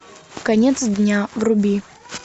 конец дня вруби